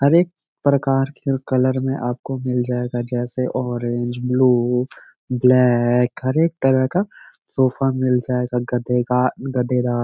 हर एक प्रकार के कलर में आपको मिल जाएगा जैसे ऑरेंज ब्लू ब्लैक हर एक तरह का सोफ़ा मिल जाएगा गद्दे का गद्देदार --